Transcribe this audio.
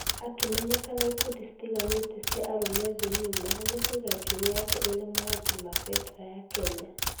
Akĩmenyeka na ĩkundi citiganĩte cia arũme thĩ ngima nĩkũiga njuere yake ina marangi ma federa ya Kenya.